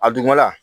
A dugumana